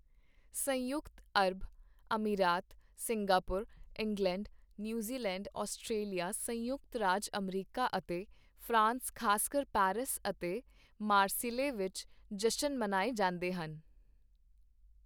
ਸੰਯੁਕਤ ਅਰਬ, ਅਮੀਰਾਤ, ਸਿੰਗਾਪੁਰ, ਇੰਗਲੈਂਡ, ਨਿਊਜ਼ੀਲੈਂਡ, ਔਸਟ੍ਰੇਲੀਆ, ਸੰਯੁਕਤ ਰਾਜ ਅਮਰੀਕਾ, ਅਤੇ ਫਰਾਂਸ ਖ਼ਾਸਕਰ ਪੈਰਿਸ ਅਤੇ ਮਾਰਸੀਲੇ ਵਿੱਚ ਜਸ਼ਨ ਮਨਾਏ ਜਾਂਦੇ ਹਨ